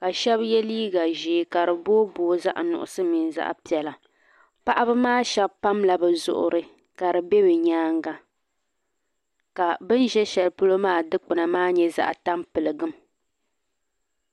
ka shɛba ye liiga ʒee ka di booi booi zaɣ' nuɣisɔ mini zaɣ' piɛla paɣaba maa shɛba pamila bɛ zuɣiri ka di be bɛ nyaaga ka bɛ ʒe shɛli polo maa dukpuna nyɛ zaɣ' tampiligu.